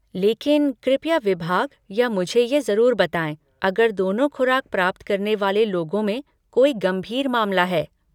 लेकिन कृपया विभाग या मुझे ये ज़रूर बताएँ अगर दोनों खुराक प्राप्त करने वाले लोगों में कोई गंभीर मामला है।